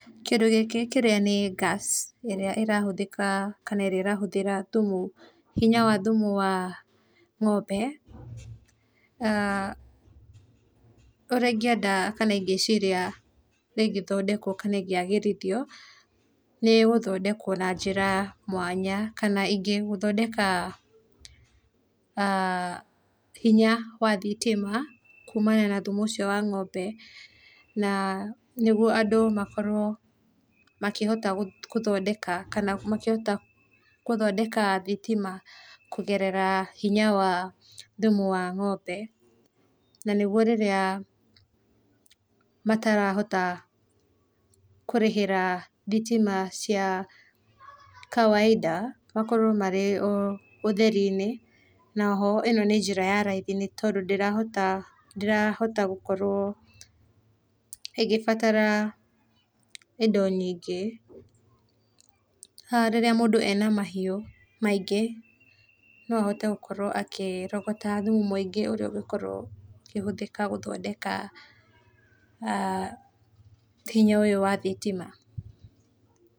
Kĩndũ gĩkĩ kĩrĩa nĩ gas ĩrĩa ĩrahũthĩka kana ĩrĩa ĩrahũthĩra thumu, hinya wa thumu wa, ng'ombe[aah] ũrĩa ũngĩenda kana ingĩciria, ĩgĩthondekwo kana ĩgĩagĩrithio, nĩ gũthondekwo na njĩra mwanya, kana ĩngĩ gũthondeka, aah hinya wa thitĩma kumana na thumu ũcio wa ng'ombe na nĩgũo andũ makorwo, makĩhota gũthondeka kana makĩhota gũthondeka thĩtĩma, kũgerera hĩnya wa thũmũ wa ng'ombe, na nĩguo rĩrĩa, matarahota kũrĩhĩra thitima cia, kawaida makorwo marĩ ũtheri inĩ, na oho nĩ njĩra ya raithĩ nĩ tondũ ndĩrahota, ndĩrahota gũkorwo, ĩgĩbatara indo nyĩngĩ haha mũndũ rĩrĩa ena mahiũ maĩngĩ, no ahote gũkorwo akĩrogota thumu mũĩngĩ ũrĩa ũgĩkorwo ũkĩhũthĩka gũthondeka,[aah] hĩnya ũyũ wa thitima.